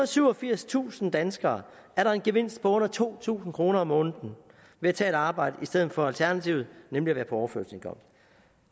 og syvogfirstusind danskere er der en gevinst på under to tusind kroner om måneden ved at tage et arbejde i stedet for alternativet nemlig at være på overførselsindkomst